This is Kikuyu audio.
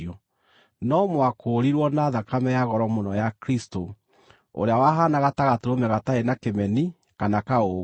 no mwakũũrirwo na thakame ya goro mũno ya Kristũ, ũrĩa wahaanaga ta gatũrũme gatarĩ na kĩmeni kana kaũũgũ.